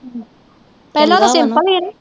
ਪਹਿਲਾ ਉਹਦਾ ਸਿਮਪਲ ਹੀ ਨੀ।